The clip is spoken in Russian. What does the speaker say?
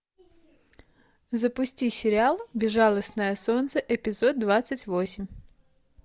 запусти сериал безжалостное солнце эпизод двадцать восемь